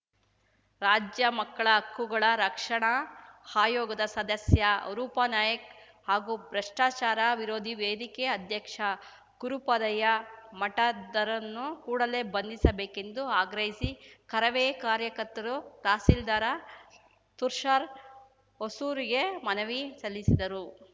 ರಾಜ್ಯ ಮಕ್ಕಳ ಹಕ್ಕುಗಳ ರಕ್ಷಣಾ ಆಯೋಗದ ಸದಸ್ಯ ರೂಪನಾಯಾಕ್ ಹಾಗೂ ಭ್ರಷ್ಟಾಚಾರ ವಿರೋಧಿ ವೇದಿಕೆ ಅಧ್ಯಕ್ಷ ಗುರುಪಾದಯ್ಯಮಠದ್‌ರನ್ನು ಕೂಡಲೆ ಬಂಧಿಸಬೇಕೆಂದು ಆಗ್ರಹಿಸಿ ಕರವೇ ಕಾರ್ಯಕರ್ತರು ತಹಸೀಲ್ದಾರ ತುರ್ಷಾರಾ ಹೊಸೂರಗೆ ಮನವಿ ಸಲ್ಲಿಸಿದರು